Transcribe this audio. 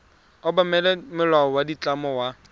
obamela molao wa ditlamo wa